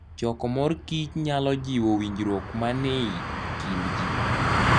Choko mor kich nyalo jiwo winjruok manie kind ji.